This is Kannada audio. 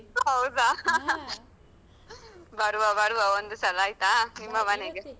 ಹೌದಾ? ಬರುವ ಬರುವ, ಒಂದು ಸಲ ಆಯ್ತಾ? ನಿಮ್ಮ ಮನೆಗೆ.